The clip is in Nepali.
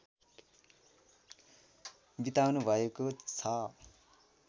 बिताउनुभएको छ